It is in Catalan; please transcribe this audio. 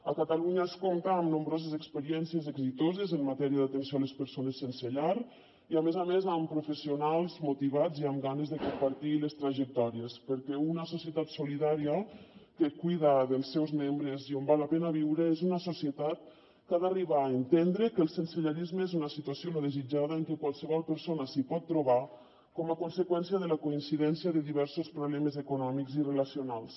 a catalunya es compta amb nombroses experiències exitoses en matèria d’atenció a les persones sense llar i a més a més amb professionals motivats i amb ganes de compartir les trajectòries perquè una societat solidària que cuida dels seus membres i on val la pena viure és una societat que ha d’arribar a entendre que el sensellarisme és una situació no desitjada i que qualsevol persona s’hi pot trobar com a conseqüència de la coincidència de diversos problemes econòmics i relacionals